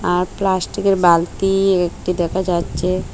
আর প্লাস্টিকের বালতি একটি দেখা যাচ্ছে।